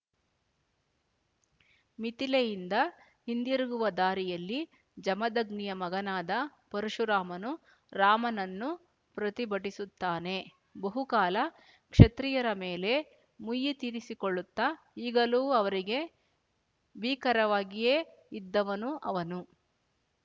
ಮಿಥಿಲೆಯಿಂದ ಹಿಂದಿರುಗುವ ದಾರಿಯಲ್ಲಿ ಜಮದಗ್ನಿಯ ಮಗನಾದ ಪರಶುರಾಮನು ರಾಮನನ್ನು ಪ್ರತಿಭಟಿಸುತ್ತಾನೆ ಬಹುಕಾಲ ಕ್ಷತ್ರಿಯರ ಮೇಲೆ ಮುಯ್ಯಿ ತೀರಿಸಿಕೊಳ್ಳುತ್ತ ಈಗಲೂ ಅವರಿಗೆ ಭೀಕರವಾಗಿಯೇ ಇದ್ದವನು ಅವನು